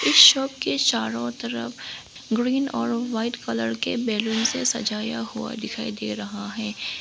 Shop के चारों तरफ ग्रीन और वाइट कलर के बैलून से सजाया हुआ दिखाई दे रहा है।